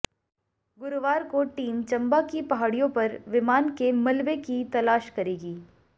गुरुवार को टीम चंबा की पहाडि़यों पर विमान के मलबे की तलाश करेगी